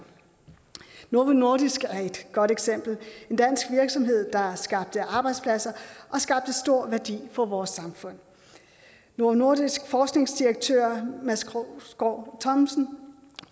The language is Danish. novo nordisk as er et godt eksempel en dansk virksomhed der har skabt arbejdspladser og stor værdi for vores samfund novo nordisks forskningsdirektør mads krogsgaard thomsen